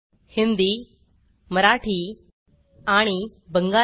हिंदी मराठी आणि बंगाली